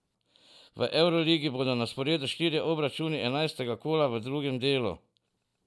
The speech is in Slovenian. V evroligi bodo na sporedu štirje obračuni enajstega kola v drugem delu.